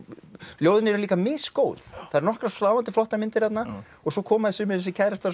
ljóðin eru líka misgóð það eru nokkrar sláandi flottar myndir þarna og svo koma sumir þessir kærastar